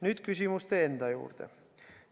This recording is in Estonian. Nüüd küsimuste juurde.